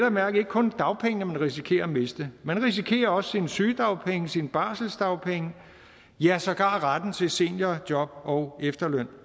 at mærke ikke kun dagpengene man risikerer at miste man risikerer også sine sygedagpenge sine barselsdagpenge ja sågar retten til seniorjob og efterløn